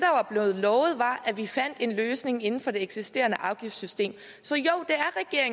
blevet lovet var at vi fandt en løsning inden for det eksisterende afgiftssystem så jo